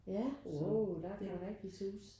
Ja åh der kan det rigtig suse